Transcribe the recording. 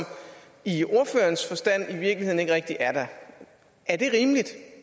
i ordførerens forstand i virkeligheden ikke rigtig er der er det rimeligt